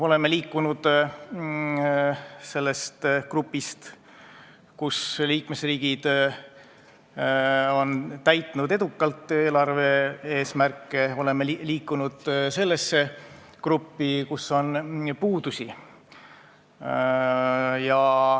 Oleme liikunud grupist, kuhu kuuluvad liikmesriigid on edukalt täitnud eelarve eesmärke, sellesse gruppi, kus on puudusi.